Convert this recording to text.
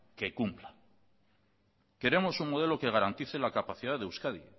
que cumpla queremos un modelo que garantice la capacidad de euskadi